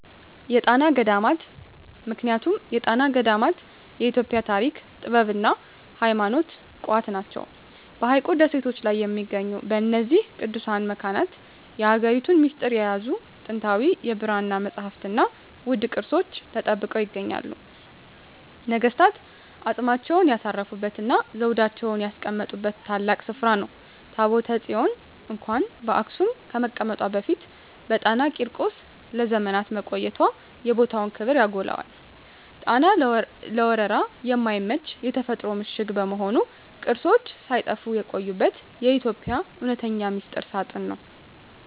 የጣና ገዳማት ምክንያቱም የጣና ገዳማት የኢትዮጵያ የታሪክ፣ የጥበብና የሃይማኖት ቋት ናቸው። በሐይቁ ደሴቶች ላይ በሚገኙት በእነዚህ ቅዱሳት መካናት፣ የሀገሪቱን ሚስጥር የያዙ ጥንታዊ የብራና መጻሕፍትና ውድ ቅርሶች ተጠብቀው ይገኛሉ። ነገሥታት አፅማቸውን ያሳረፉበትና ዘውዳቸውን ያስቀመጡበት ታላቅ ስፍራ ነው። ታቦተ ጽዮን እንኳን በአክሱም ከመቀመጧ በፊት በጣና ቂርቆስ ለዘመናት መቆየቷ የቦታውን ክብር ያጎላዋል። ጣና ለወረራ የማይመች የተፈጥሮ ምሽግ በመሆኑ፣ ቅርሶች ሳይጠፉ የቆዩበት የኢትዮጵያ እውነተኛ ሚስጥር ሳጥን ነው።